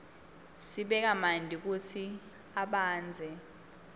sibeka manti kutsi abandze